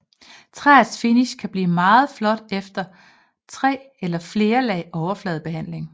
Træets finish kan blive meget flot efter tre eller flere lag overfladebehandling